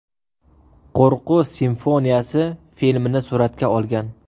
Qo‘rquv simfoniyasi” filmini suratga olgan.